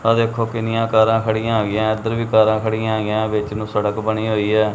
ਆਹ ਦੇਖੋ ਕਿੰਨੀਆਂ ਕਾਰਾਂ ਖੜੀਆਂ ਹੋਈਆਂ ਇੱਧਰ ਵੀ ਕਾਰਾਂ ਖੜੀਆਂ ਹੀਗਿਆਂ ਵਿੱਚ ਨੂੰ ਸੜਕ ਬਣੀ ਹੋਇਆ।